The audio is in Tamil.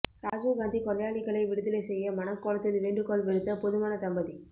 ராஜீவ் காந்தி கொலையாளிகளை விடுதலை செய்ய மணக்கோலத்தில் வேண்டுகோள் விடுத்த புதுமணத்தம்பதி